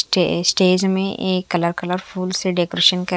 stay stage में एक colour colour फूल से डेकोरेशन कर--